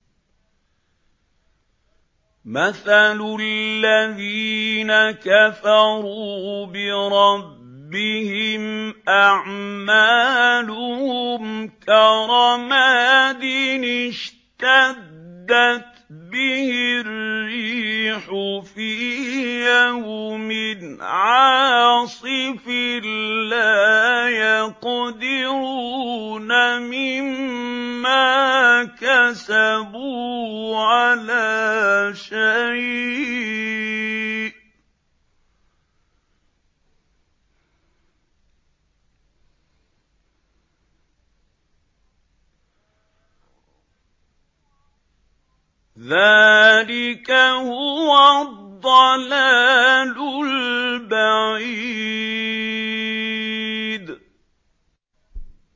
مَّثَلُ الَّذِينَ كَفَرُوا بِرَبِّهِمْ ۖ أَعْمَالُهُمْ كَرَمَادٍ اشْتَدَّتْ بِهِ الرِّيحُ فِي يَوْمٍ عَاصِفٍ ۖ لَّا يَقْدِرُونَ مِمَّا كَسَبُوا عَلَىٰ شَيْءٍ ۚ ذَٰلِكَ هُوَ الضَّلَالُ الْبَعِيدُ